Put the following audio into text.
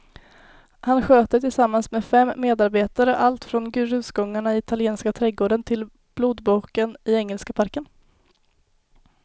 Han sköter tillsammans med fem medarbetare allt från grusgångarna i italienska trädgården till blodboken i engelska parken.